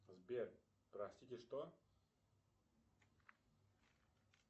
сбер простите что